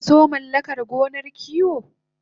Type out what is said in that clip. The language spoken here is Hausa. Sakaso mallakar gonar kiwo